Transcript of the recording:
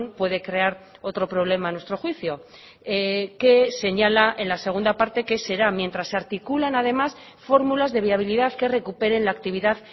puede crear otro problema a nuestro juicio que señala en la segunda parte que será mientras se articulan además fórmulas de viabilidad que recuperen la actividad